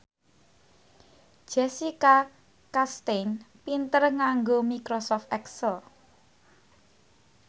Jessica Chastain pinter nganggo microsoft excel